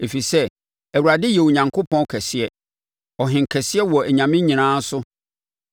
Ɛfiri sɛ, Awurade yɛ Onyankopɔn kɛseɛ, ɔhenkɛseɛ wɔ anyame nyinaa so.